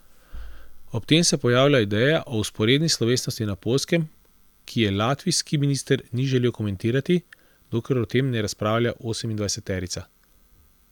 Ob tem se pojavlja ideja o vzporedni slovesnosti na Poljskem, ki je latvijski minister ni želel komentirati, dokler o tem ne razpravlja osemindvajseterica.